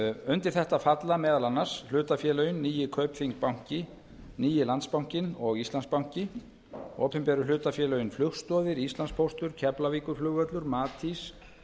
undir þetta falla meðal annars hlutafélögin nýi kaupþing banki nýi landsbankinn og íslandsbanki opinberu hlutafélögin flugstoðir íslandspóstur keflavíkurflugvöllur matís